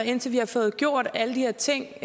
indtil vi har fået gjort alle de her ting